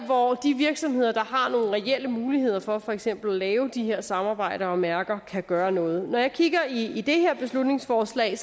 hvor de virksomheder der har nogle reelle muligheder for for eksempel at lave de her samarbejder og mærker kan gøre noget når jeg kigger i det her beslutningsforslag